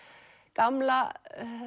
gamla